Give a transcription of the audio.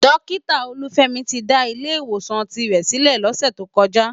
Dókitá Oluwafemi ti dá Ilè Iwósán tirè silè lòsè tókòjá